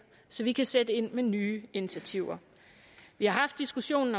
så vi kan sætte ind med nye initiativer vi har haft diskussionen